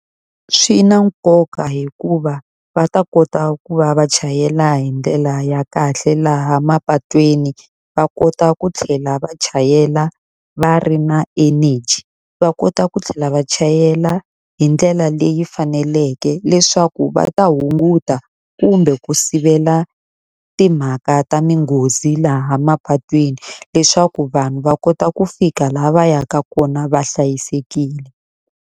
Swi na nkoka hikuva va ta kota ku va va chayela hi ndlela ya kahle laha mapatwini, va kota ku tlhela va chayela va ri na energy. Va kota ku tlhela va chayela hi ndlela leyi faneleke leswaku va ta hunguta kumbe ku sivela timhaka ta tinghozi laha mapatwini. Leswaku vanhu va kota ku fika laha va yaka kona va hlayisekile.